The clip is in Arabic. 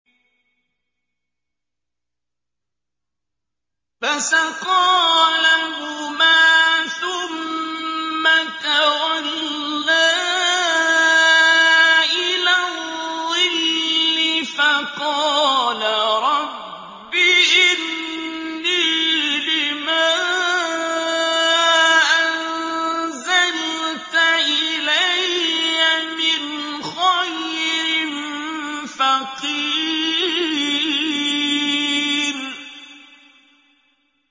فَسَقَىٰ لَهُمَا ثُمَّ تَوَلَّىٰ إِلَى الظِّلِّ فَقَالَ رَبِّ إِنِّي لِمَا أَنزَلْتَ إِلَيَّ مِنْ خَيْرٍ فَقِيرٌ